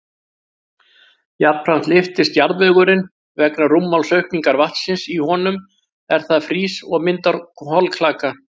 Jafnframt lyftist jarðvegurinn vegna rúmmálsaukningar vatnsins í honum er það frýs og myndar holklaka.